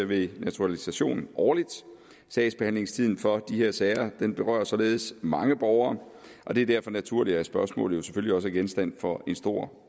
ved naturalisation årligt sagsbehandlingstiden for de her sager berører således mange borgere og det er derfor naturligt at spørgsmålet selvfølgelig også er genstand for en stor